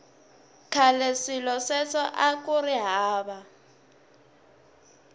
khale swilo sweswo akuri hava